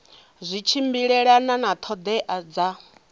zwi tshimbilelana na ṱhoḓea dza